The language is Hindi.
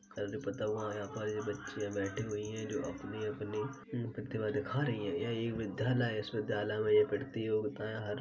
यहाँ पर ये बच्चियां बैठी हुई है जो अपनी अपनी हम्म प्रतिभा दिखा रही है यह एक विद्यालय है इस विद्यालय में ये पढ़ती है और बताएं हर --